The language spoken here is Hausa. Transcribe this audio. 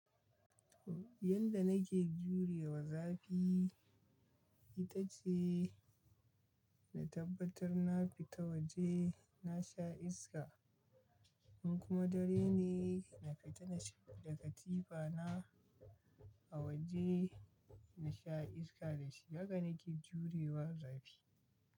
Yanda nake jurewa zafi ita ce na tabbatar na fita waje na sha iska. In kuma dare ne, na kaita na shiga katifa na a waje na sha iska da shi. Haka nake jurewa zafi.